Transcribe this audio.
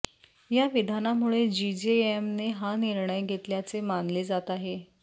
या विधानामुळे जीजेएमने हा निर्णय घेतल्याचे मानले जात आहे